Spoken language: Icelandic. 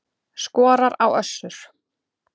Skorar á Össur